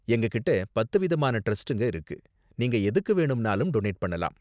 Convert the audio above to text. எங்ககிட்ட பத்து விதமான டிரஸ்டுங்க இருக்கு, நீங்க எதுக்கு வேணும்னாலும் டொனேட் பண்ணலாம்.